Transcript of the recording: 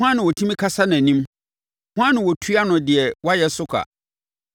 Hwan na ɔtumi kasa nʼanim? Hwan na ɔtua no deɛ wayɛ so ka?